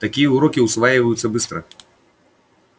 такие уроки усваиваются быстро